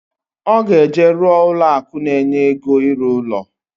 Oga eje ruo ụlọ akụ na enye ego iru uno